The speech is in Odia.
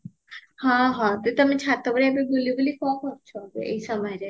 ହଁ ହଁ ଯେ ତମେ ଛାତ ଉପରେ ଏବେ ବୁଲି ବୁଲି କଣ କରୁଛ ଏଇ ସମୟରେ